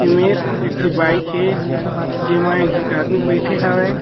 एमेर एक ठी बाइक हे जेमा एक जिक आदमी बैठे हावय।